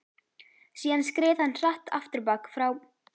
Síðan skreið hann hratt afturábak frá